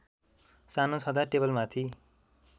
सानो छँदा टेबलमाथि